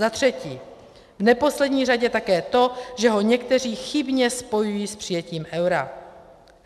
Za třetí, v neposlední řadě také to, že ho někteří chybně spojují s přijetím eura.